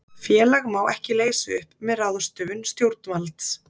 félag má ekki leysa upp með ráðstöfun stjórnvalds